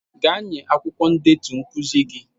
Gaa nye akwụkwọ ndetu nkuzi gị.